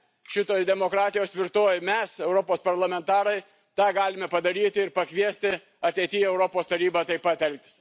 šitoje demokratijos tvirtovėje, mes, Europos parlamentarai, tą galime padaryti ir pakviesti ateityje Europos Tarybą taip pat elgtis.